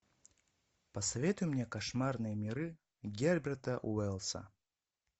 посоветуй мне кошмарные миры герберта уэллса